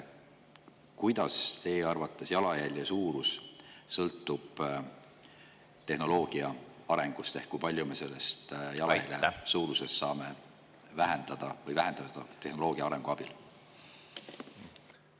Kuidas sõltub teie arvates jalajälje suurus tehnoloogia arengust ehk kui palju me saame seda jalajälje suurust vähendada tehnoloogia arenemise abil?